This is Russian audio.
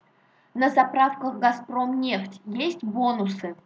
на заправках газпромнефть есть бонусы